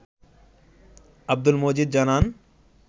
আব্দুল মজিদ জানান